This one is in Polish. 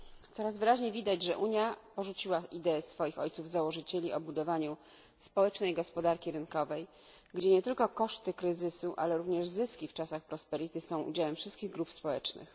Coraz wyraźniej widać, że Unia porzuciła ideę swoich ojców założycieli o budowaniu społecznej gospodarki rynkowej, gdzie nie tylko koszty kryzysu, ale również zyski w czasach są udziałem wszystkich grup społecznych.